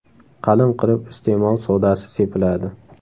Qalin qilib iste’mol sodasi sepiladi.